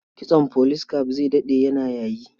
Kitson police cap zai daɗe yana yayi.